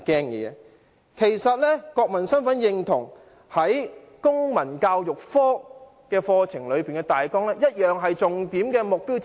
然而，國民身份認同其實在公民教育科的課程大綱同樣是重點目標之一。